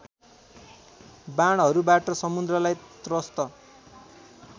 बाणहरूबाट समुद्रलाई त्रस्त